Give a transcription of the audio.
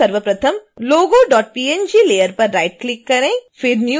इसके लिए सर्वप्रथम logopng layer पर राइट क्लिक करें